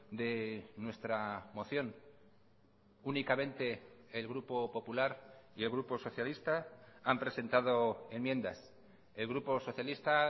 de nuestra moción únicamente el grupo popular y el grupo socialista han presentado enmiendas el grupo socialista